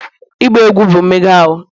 ịgba egwu bụ mmega ahụ